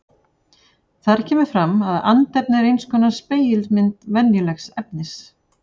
Þar kemur fram að andefni er eins konar spegilmynd venjulegs efnis.